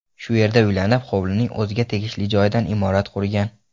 Shu yerda uylanib, hovlining o‘ziga tegishli joyidan imorat qurgan.